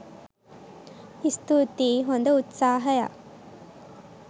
ස්තූතියි හොඳ උත්සහයක්!